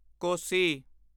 ਕੋਸੀ